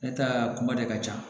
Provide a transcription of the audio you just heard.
Ne ta kuma de ka ca